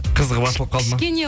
қызығы басылып қалды ма кішкене